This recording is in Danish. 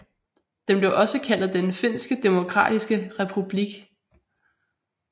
Den blev også kaldet Den finske Demokratiske Republik